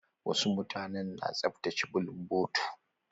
Wasu mutanen na tsaftace bulunbotu.